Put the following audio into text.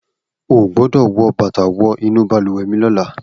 O ò gbọ́dọ̀ wọ bàtà wọ inú balùwẹ̀ mi lọ́la!